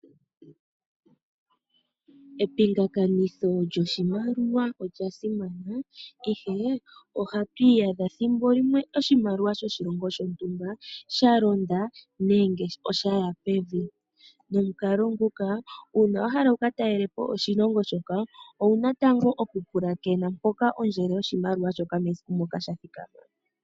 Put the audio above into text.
Epingakanitho lyoshimaliwa olya simana kehe, ohatwiyadha thimbo limwe oshimaliwa shoshilongo shontumba shalonda nenge shaya pevi momunkalo nguka, una wahala wuka talelepo oshilongo shika owuna tango oku pwilikina poka ondjelo yoshimaliwa yathikama.